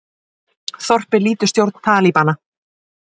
Þorpið lýtur stjórn Talíbana